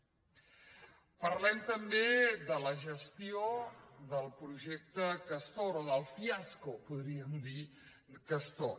parlem també de la gestió del projecte castor o del fiasco podríem dir·ne castor